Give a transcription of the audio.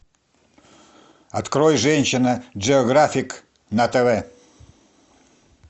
открой женщина джиографик на тв